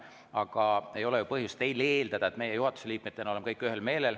Aga ei ole ju põhjust teil eeldada, et meie juhatuse liikmetena oleme kõik ühel meelel.